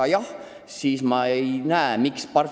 Kui jah, siis ma ei näe sellise aktsiisi põhjust.